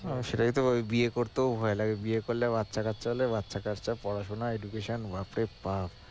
হ্যাঁ সেটাই তো ভাবি বিয়ে করতেও ভয় লাগে বিয়ে করলে বাচ্চা কাচ্চা হলে বাচ্চা কাচ্চার পড়াশোনা বাপরে বাপ!